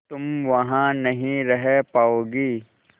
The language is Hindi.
तुम वहां नहीं रह पाओगी